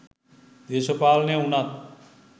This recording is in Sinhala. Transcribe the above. දේශපාලනය වුනත්